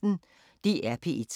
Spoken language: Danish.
DR P1